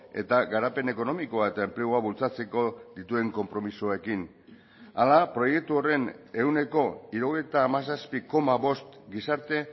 eta garapen ekonomikoa eta enplegua bultzatzeko dituen konpromisoekin hala proiektu horren ehuneko hirurogeita hamazazpi koma bost gizarte